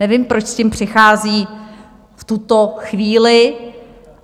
Nevím, proč s tím přichází v tuto chvíli.